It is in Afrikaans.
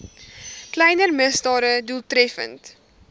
kleiner misdade doeltreffend